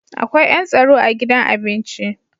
Akwai yan tsaro a gidan abinci.